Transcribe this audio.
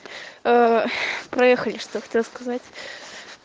ээ проехали что хотела сказать